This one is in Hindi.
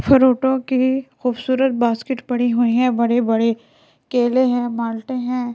फ्रुटो की खूबसूरत बास्केट पड़ी हुई हैं बड़े-बड़े केले हैं माल्टे हैं।